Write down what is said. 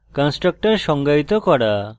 constructor সংজ্ঞায়িত করা